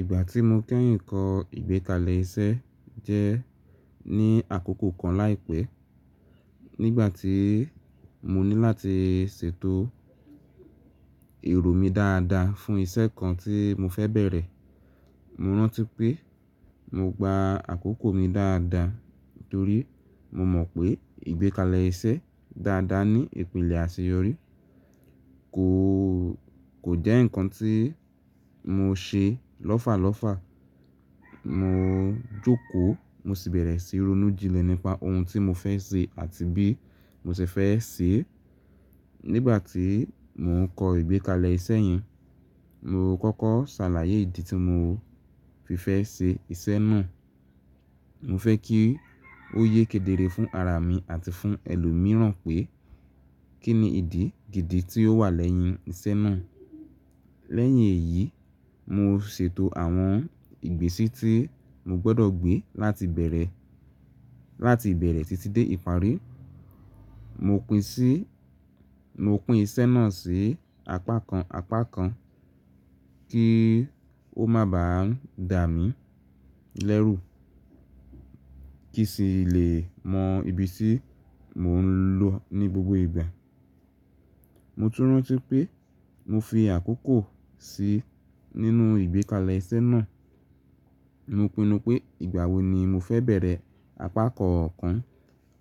Ìgbà tí mo kẹ́yìn kọ ìgbékalẹ̀ iṣẹ́ jẹ́ ní àkókò kan láìpẹ́, nígbà tí mo ní láti ṣètò èrò mi dáadáa fún iṣẹ́ kan tí mo fẹ́ bẹ̀rẹ̀. Mo rántí pé mo gba àkókò mi dáadáa torí mo mọ̀ pé ìgbékalẹ̀ iṣẹ́ dáadáa ní ìpìlẹ̀ àṣeyọrí kò, kò jẹ́ ǹkan tí mo ṣe lọ́fàlọ́fà. Mo jókòó, mo sì bẹ̀rẹ̀ sí ronú jínlẹ̀ nípa ohun tí mo fẹ́ ṣe àti bí mo ṣe fẹ́ ṣe é. Nígbà tí mò ń kọ ìgbékalẹ̀ iṣẹ́ yẹn, mo kọ́kọ́ ṣàlàyé ìdí tí mo fi fẹ́ ṣe iṣẹ́ náà. Mo fẹ́ kí ó yé kedere fún ara mi àti fún ẹlòmíràn pé kí ni ìdí gidi tí ó wà lẹ́yìn iṣẹ́ náà. Lẹ́yìn èyí, mo ṣètò àwọn ìgbésí tí mo gbọ́dọ̀ gbé láti bẹ̀rẹ̀, láti ìbẹ̀rẹ̀ títí dé ìparí. Mo pín sí, mo pín iṣẹ́ náà sí apá kan, apá kan kí ó máa ba ń dà mí lẹ́rù kí sì lè mọ ibi tí mò ń lọ ní gbogbo ìgbà. Mo tún rántí pé mo fi àkókò sí nínú ìgbékalẹ̀ iṣẹ́ náà. Mo pinnu pé ìgbà wo ni mo fẹ́ bẹ̀rẹ̀ apá kọ̀ọ̀kan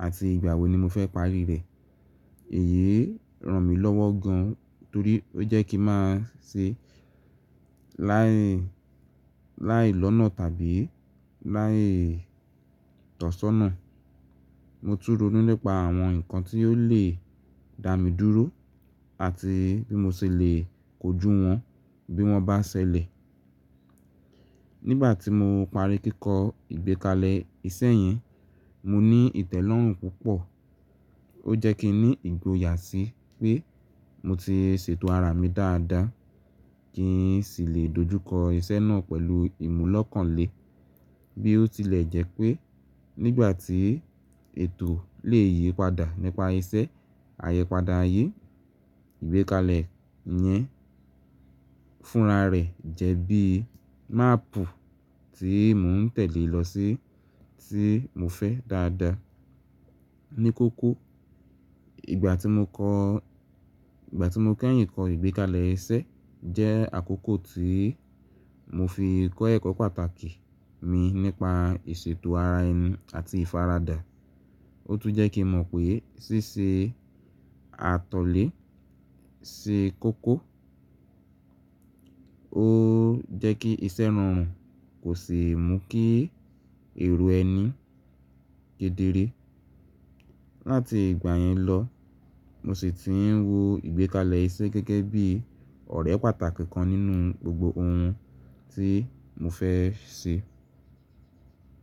àti ìgbà wo ni mo fẹ́ parí rẹ̀. Èyí ràn mí lọ́wọ́ gan torí ó jẹ́ kí má ṣe láì, láì lọ́nà tàbí láì tọ̀ṣọ́nà. Mo tún ronú nípa àwọn ǹkan tí ó lè dà mí dúró àti bí mo ṣe lè kojú wọn bí wọ́n bá ṣẹlẹ̀. Nígbà tí mo parí kíkọ ìgbékalẹ̀ iṣẹ́ yẹn, mo ní ìtẹ́lọ́rùn púpọ̀. Ó jẹ́ kí n ní ìgboyà sí pé mo ti ṣètò ara mi dáadáa kí n sì lè dojú kọ iṣẹ́ náà pẹ̀lú ìmúlọ́kànle. Bí ó tilẹ̀ jẹ́ pé nígbà tí ètò le yí padà nípa iṣẹ́, àyẹpadà ayé, ìgbékalẹ̀ yẹn fúnra rẹ̀ jẹ́ bí máàpù tí mò ń tẹ̀ lé lọ sí tí mo fẹ́ dáadáa. Ní kókó, ìgbà tí mo kọ́, ìgbà tí mo kẹ́yìn kọ ìgbékalẹ̀ iṣẹ́ jẹ́ àkókò tí mo fi kọ́ ẹ̀kọ́ pàtàkì mi nípa ìṣètò ara ẹni àti ìfaradà. Ó tún jẹ́ kí mo mọ̀ pé ṣíṣe àtọ̀lé ṣe kókó. Ó jẹ́ kí iṣẹ́ rọrùn kò sì mú kí èrò ẹni kedere. Láti ìgbà yẹn lọ, mo sì ti ń wo ìgbékalẹ̀ iṣẹ́ gẹ́gẹ́ bí ọ̀rẹ́ pàtàkì kan nínú gbogbo ohun tí mo fẹ́ ṣe.